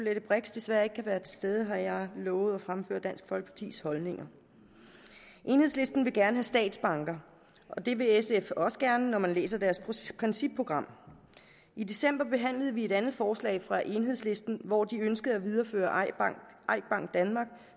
l brix desværre ikke kunne være til stede har jeg lovet at fremføre dansk folkepartis holdninger enhedslisten vil gerne statsbank og det vil sf også gerne når man læser deres principprogram i december behandlede vi et andet forslag fra enhedslisten hvor de ønskede at videreføre eik bank danmark